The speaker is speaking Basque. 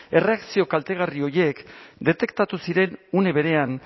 erreakzio kaltegarri horiek detektatu ziren une berean